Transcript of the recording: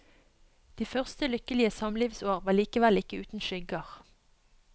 De første lykkelige samlivsår var likevel ikke uten skygger.